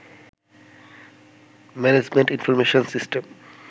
management information system